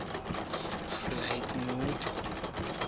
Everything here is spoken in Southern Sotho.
ho ka ba molemo ha